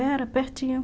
Era pertinho.